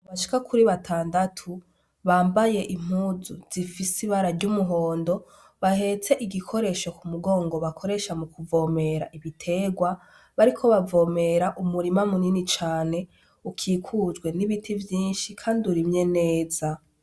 Abantu bashika kuri batandatu bambaye impuzu zifise ibara ry'umuhondo, bahetse igikoresho ku mugongo bakoresha mu kuvomera ibiterwa, bariko bavomera umurima munini cane ukikujwe n'ibiti vyinshi kandi urimye neza.